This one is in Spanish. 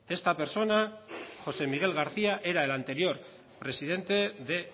esta persona josé miguel garcía era el anterior presidente de